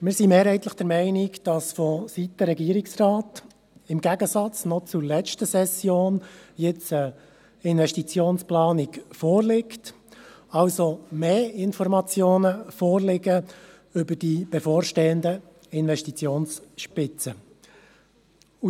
Wir sind mehrheitlich der Meinung, dass vonseiten des Regierungsrates im Gegensatz zur letzten Session nun eine Investitionsplanung vorliegt, also mehr Informationen vorliegen über die bevorstehenden Investitionsspitzen.